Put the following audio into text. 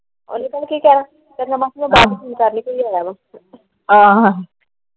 ਉਹਨੇ ਪਤਾ ਕਿ ਕਹਿਣਾ ਮਾਸੀ ਬਾਅਦ ਚ ਫੋਨ ਕਰ ਲਵੀ।